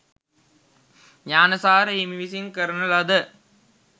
ඤාණසාර හිමි විසින් කරන ලද